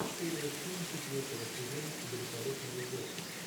серия семь четвертого сезона великолепного гоши